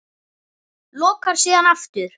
Lokar síðan aftur.